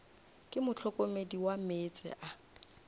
ke mohlokomedi wa meetse a